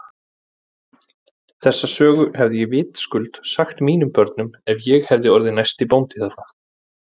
Þessa sögu hefði ég vitaskuld sagt mínum börnum ef ég hefði orðið næsti bóndi þarna.